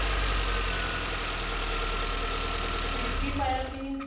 ਵਿੱਚ ਕੀ ਪਾਇਆ ਸੀ